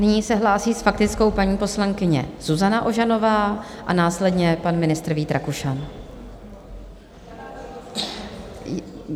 Nyní se hlásí s faktickou paní poslankyně Zuzana Ožanová a následně pan ministr Vít Rakušan.